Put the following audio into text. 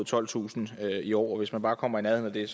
tolvtusind i år og hvis vi bare kommer i nærheden af det